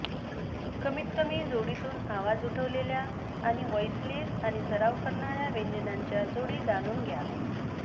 कमीतकमी जोडीतून आवाज उठवलेल्या आणि व्हॉइसलेस आणि सराव करणार्या व्यंजनांच्या जोडी जाणून घ्या